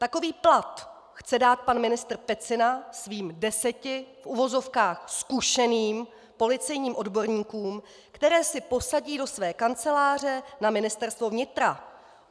Takový plat chce dát pan ministr Pecina svým deseti v uvozovkách zkušeným policejním odborníkům, které si posadí do své kanceláře na Ministerstvo vnitra.